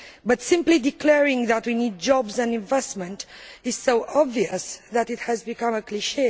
However, simply declaring that we need jobs and investment is so obvious that it has become a cliché.